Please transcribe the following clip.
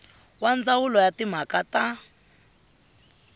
wa ndzawulo ya timhaka ta